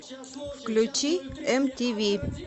включи мтв